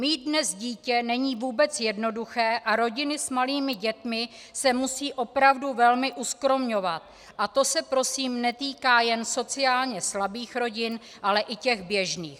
Mít dnes dítě není vůbec jednoduché a rodiny s malými dětmi se musí opravdu velmi uskromňovat, a to se prosím netýká jen sociálně slabých rodin, ale i těch běžných.